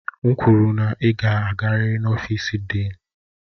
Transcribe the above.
M kwuru na ị ga-agarịrị n'ọfịsi Dịịn!